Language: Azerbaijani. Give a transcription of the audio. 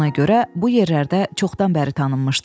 Ona görə bu yerlərdə çoxdan bəri tanınmışdı.